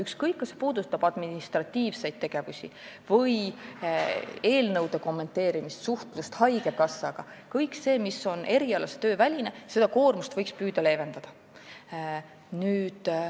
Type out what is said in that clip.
Ükskõik, kas see puudutab administratiivseid tegevusi või eelnõude kommenteerimist või suhtlust haigekassaga – seda koormust, mis on erialase töö väline, võiks püüda leevendada.